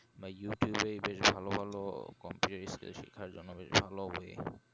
বা youtube এ বেশ ভালো ভালো computer skill শিখার জন্য বেশ ভালো হবে